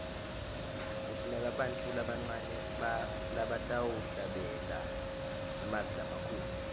kufuneka bantfu labancane labatawuhlabela ngemavi lamakhulu